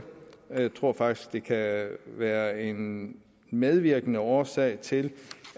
og jeg tror faktisk det kan være en medvirkende årsag til